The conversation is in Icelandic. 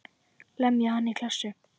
Lemja hann í klessu.